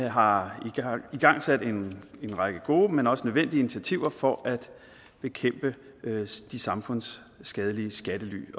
har igangsat en række gode men også nødvendige initiativer for at bekæmpe de samfundsskadelige skattely